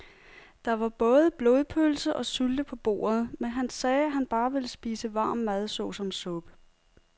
Der var både blodpølse og sylte på bordet, men han sagde, at han bare ville spise varm mad såsom suppe.